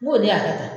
N ko ne y'a kɛ tan